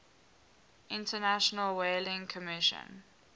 international whaling commission